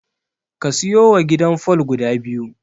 Ka siyowa gidan fol guda biyu.